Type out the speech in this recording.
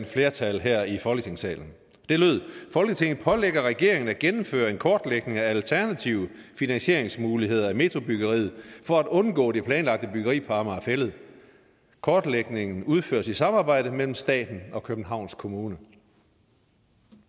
flertal her i folketingssalen det lød folketinget pålægger regeringen at gennemføre en kortlægning af alternative finansieringsmuligheder af metrobyggeriet for at undgå den planlagte byggeri på amager fælled kortlægningen udføres i samarbejde mellem staten og københavns kommune